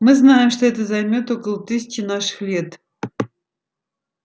мы знаем что это займёт около тысячи наших лет